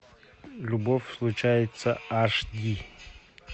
любовь случается аш ди